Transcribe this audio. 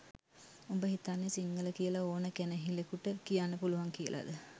උඹ හිතන්නෙ සිංහල කියල ඕන කැනහිලෙකුට කියන්න පුළුවන් කියලද?